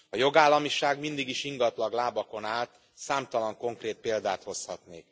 A jogállamiság mindig is ingatag lábakon állt, számtalan konkrét példát hozhatunk.